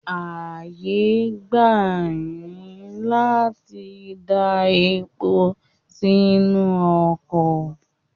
Ààyè gbà yín láti dá epo sínú ọkọ̀.